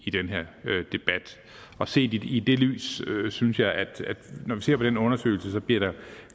i den her debat og set i det lys synes jeg at når vi ser på den undersøgelse bliver der